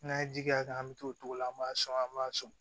N'an ye ji k'a kan an mi t'o togo la an b'a sɔn an b'a sɔn